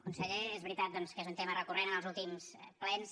conseller és veritat doncs que és un tema recurrent en els últims plens